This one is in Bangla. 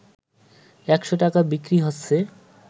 ১০০ টাকায় বিক্রি হচ্ছে